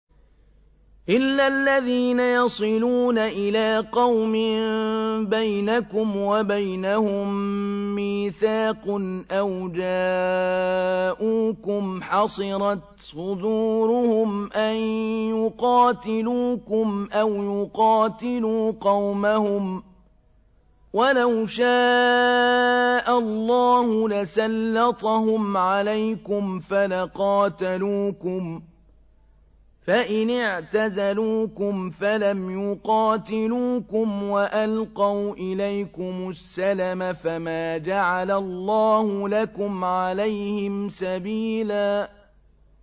إِلَّا الَّذِينَ يَصِلُونَ إِلَىٰ قَوْمٍ بَيْنَكُمْ وَبَيْنَهُم مِّيثَاقٌ أَوْ جَاءُوكُمْ حَصِرَتْ صُدُورُهُمْ أَن يُقَاتِلُوكُمْ أَوْ يُقَاتِلُوا قَوْمَهُمْ ۚ وَلَوْ شَاءَ اللَّهُ لَسَلَّطَهُمْ عَلَيْكُمْ فَلَقَاتَلُوكُمْ ۚ فَإِنِ اعْتَزَلُوكُمْ فَلَمْ يُقَاتِلُوكُمْ وَأَلْقَوْا إِلَيْكُمُ السَّلَمَ فَمَا جَعَلَ اللَّهُ لَكُمْ عَلَيْهِمْ سَبِيلًا